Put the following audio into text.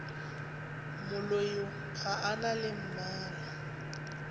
moloi ga a na mmala